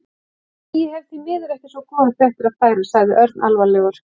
Nei, ég hef því miður ekki svo góðar fréttir að færa sagði Örn alvarlegur.